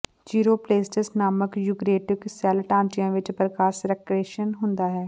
ਚਿਊਰੋਪਲੇਸਟਸ ਨਾਮਕ eukaryotic cell ਢਾਂਚਿਆਂ ਵਿਚ ਪ੍ਰਕਾਸ਼ ਸੰਕ੍ਰੇਸ਼ਨ ਹੁੰਦਾ ਹੈ